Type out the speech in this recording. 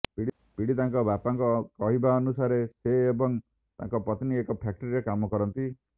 ପୀଡ଼ିତାଙ୍କ ବାପାଙ୍କ କହିବାନୁସାରେ ସେ ଏବଂ ତାଙ୍କ ପତ୍ନୀ ଏକ ଫ୍ୟାକ୍ଟ୍ରିରେ କାମ କରନ୍ତି